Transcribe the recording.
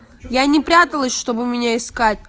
я не пряталась чтобы у меня искать